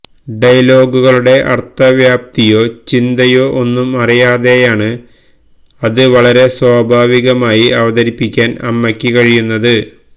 ഡയലോഗുകളുടെ അർഥവ്യാപ്തിയോ ചിന്തയോ ഒന്നുംഅറിയാതെയാണ് അത് വളരെ സ്വാഭാവികമായി അവതരിപ്പിക്കാൻ അമ്മയ്ക്ക് കഴിയുന്നത്